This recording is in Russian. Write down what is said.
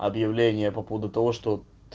объявления по поводу того что